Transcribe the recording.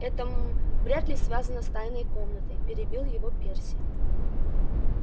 это м-м вряд ли связано с тайной комнатой перебил его перси